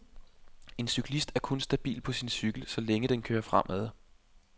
En cyklist er kun stabil på sin cykel, så længe den kører fremad.